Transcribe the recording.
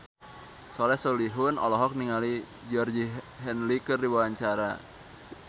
Soleh Solihun olohok ningali Georgie Henley keur diwawancara